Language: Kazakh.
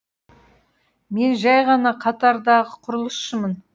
мен жай ғана қатардағы құрылысшымын